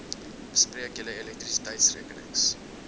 bespreek julle elektrisiteitsrekenings